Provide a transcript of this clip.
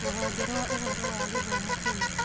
Rũhonge rwa ũhoro wa gĩthomo Kenya.